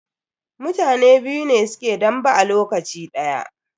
Mutane biyu ne suke dambe a lokaci daya.